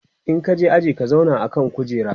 in ka je aji ka zauna a kan kujera!